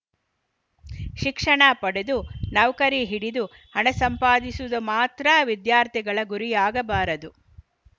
ಶಿಕ್ಷಣ ಪಡೆದು ನೌಕರಿ ಹಿಡಿದು ಹಣ ಸಂಪಾದಿಸುವುದು ಮಾತ್ರ ವಿದ್ಯಾರ್ಥಿಗಳ ಗುರಿಯಾಗಬಾರದು